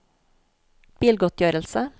bilgodtgjørelse